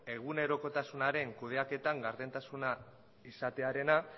egunerokotasunaren kudeaketan gardentasuna izatearena